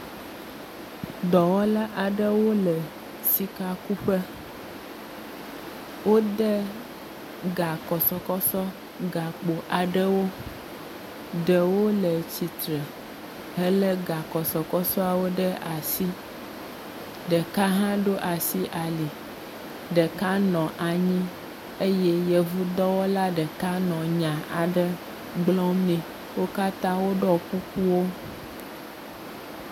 Dɔwɔla aɖewo le sikakuƒe. wode gakɔsɔsɔ gakpo aɖewo. Ɖewo le tsitre hele gakɔsɔsɔawo ɖe asi. Ɖeka hã ɖo asi ali, ɖeka nɔ anyi eye yevudɔwɔla ɖeka nɔ nya aɖe gblɔm nɛ.